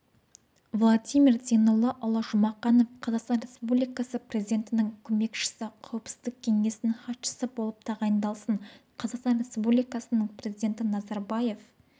владимир зейноллаұлы жұмақанов қазақстан республикасы президентінің көмекшісі қауіпсіздік кеңесінің хатшысы болып тағайындалсын қазақстан республикасының президенті назарбаев